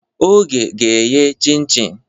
Oge ga-eghe chim-chim.